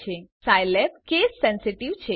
યાદ રાખો Scilab case sensitive છે